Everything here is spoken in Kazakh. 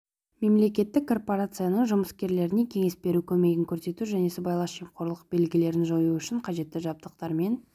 мемлекеттік корпорацияның жұмыскерлеріне кеңес беру көмегін көрсету және сыбайлас жемқорлық белгілерін жою үшін қажетті жабдықтармен